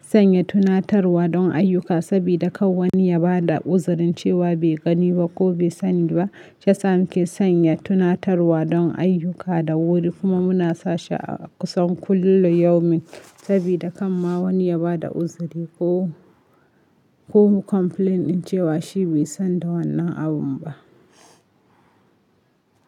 sanya tunatarwa don ayyuka sabida kar wani ya ba da uzirin cewa bai gani ba ko bai sani ba. Shiyasa nike sanya tunatarwa don ayyuka da wuri kuma muna sashi a kusan kullu yaumin sabida kan ma wani ya ba da uzuri ko, ko complaint din cewa shi bai san da wannan abun ba.